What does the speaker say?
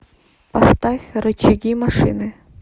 поставь рычаги машины